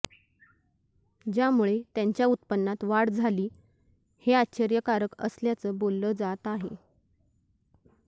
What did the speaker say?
ज्यामुळे त्यांच्या उत्पन्नात वाढ झाली हे आश्चर्यकारक असल्याचं बोललं जात आहे